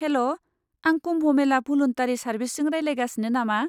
हेल', आं कुम्भ मेला भलुन्टारि सार्भिसजों रायज्लायगासिनो नामा?